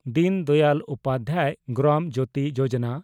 ᱫᱤᱱ ᱫᱟᱭᱟᱞ ᱩᱯᱟᱫᱽᱫᱷᱟᱭ ᱜᱨᱟᱢ ᱡᱳᱛᱤ ᱡᱳᱡᱚᱱᱟ